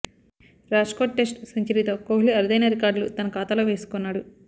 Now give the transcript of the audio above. Rajkot test సెంచరీతో కొహ్లీ అరుదైన రికార్డ్లు తన ఖాతాలో వేసుకున్నాడు